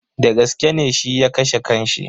Dagaske ne shi ya kashe kan shi?